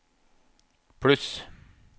pluss